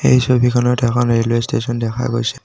এই ছবিখনত এখন ৰেলৱে ষ্টেচন দেখা গৈছে।